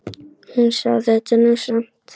Hún sá þetta nú samt.